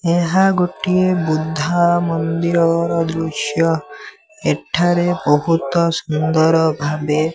ଏହା ଗୋଟିଏ ବୃଦ୍ଧା ମନ୍ଦୀର ଘର ଦୃଶ୍ୟ ଏଠାରେ ବହୁତ ସୁନ୍ଦର ଭାବେ --